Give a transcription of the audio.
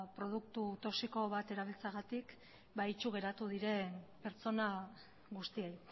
produktu toxiko bat erabiltzeagatik itsu geratu diren pertsona guztiei